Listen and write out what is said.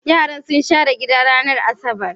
Yaran sun share gidan ranar Asabar